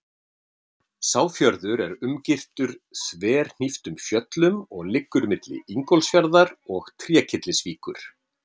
Sá fjörður er umgirtur þverhníptum fjöllum og liggur milli Ingólfsfjarðar og Trékyllisvíkur.